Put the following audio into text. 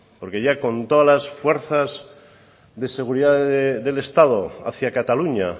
porque ya con toda las fuerzas de seguridad del estado hacia cataluña